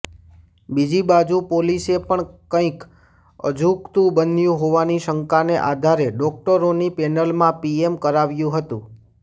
બીજી બાજુ પોલીસે પણ કંઈક અજુગતું બન્યું હોવાની શંકાને આધારે ડોક્ટરોની પેનલમાં પીએમ કરાવ્યું હતું